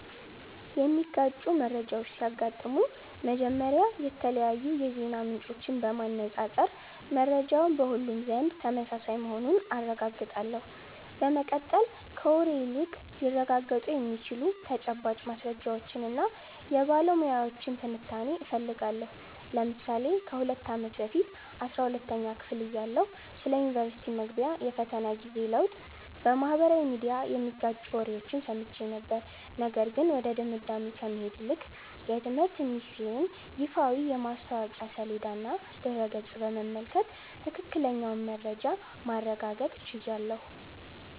የሚጋጩ መረጃዎች ሲያጋጥሙኝ፥ መጀመሪያ የተለያዩ የዜና ምንጮችን በማነፃፀር መረጃው በሁሉም ዘንድ ተመሳሳይ መሆኑን አረጋግጣለሁ። በመቀጠል፥ ከወሬ ይልቅ ሊረጋገጡ የሚችሉ ተጨባጭ ማስረጃዎችንና የባለሙያዎችን ትንታኔ እፈልጋለሁ። ለምሳሌ ከ2 አመት በፊት 12ኛ ክፍል እያለሁ ስለ ዩኒቨርስቲ መግቢያ የፈተና ጊዜ ለውጥ በማኅበራዊ ሚዲያ የሚጋጩ ወሬዎችን ሰምቼ ነበር፤ ነገር ግን ወደ ድምዳሜ ከመሄድ ይልቅ የትምህርት ሚኒስተር ይፋዊ የማስታወቂያ ሰሌዳና ድረ-ገጽ በመመልከት ትክክለኛውን መረጃ ማረጋገጥ ችያለሁ።